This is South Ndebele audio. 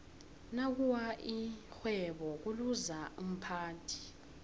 nakuwa ixhwebo kuluza umphathi